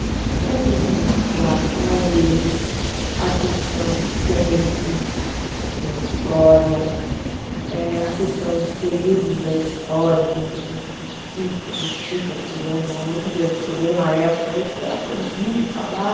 Então, eu deixo muito claro para eles a questão do tempo e a história, eh a questão dos períodos da história, que muita gente critica, critica, porque, pelo amor de Deus, eu estudei numa época aí que era proibido falar